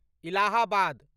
Allahabad